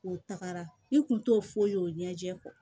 U tagara i kun t'o foyi ye o ɲɛjɛ